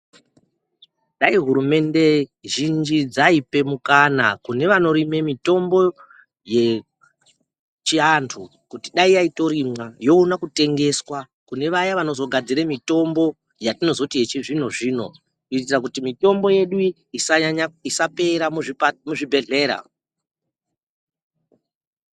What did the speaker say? Dai hurumende zhinji dzaipe mukana kune vanorime mitombo yechiantu. Kuti dai yaitorimwa yoona kutengeswa kune vaya vanozogadzire mitombo yatinozoti yechizvino-zvino. Kuitira kuti mitombo yedu isanyanya isapera muzvipa muzvibhedhlera.